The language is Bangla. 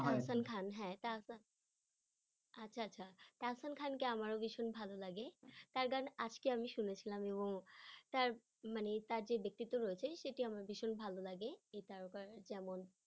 দারসান খান হ্যাঁ আচ্ছা আচ্ছা দরসান খানকে আমারও ভীষণ ভালো লাগে তার গান আজকে আমি শুনেছিলাম এবং তার মানে তার যে ব্যক্তিত্ব রয়েছে সেটি আমার ভীষণ ভালো লাগে যেমন